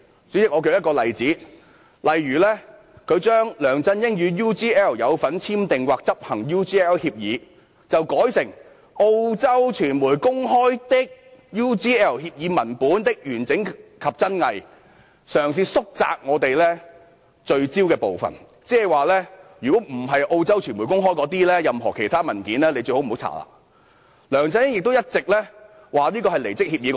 主席，我舉一個例子，他將"梁先生與 UGL 有否簽訂及/或執行 UGL 協議"，改成"澳洲傳媒公開的 UGL 協議文本的完整性及真偽"，嘗試縮窄我們聚焦的部分，即除澳洲傳媒公開的文件外，最好不要調查任何其他文件。